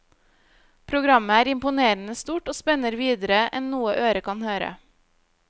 Programmet er imponerende stort og spenner videre enn noe øre kan høre.